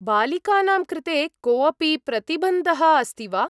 बालिकानां कृते कोऽपि प्रतिबन्धः अस्ति वा?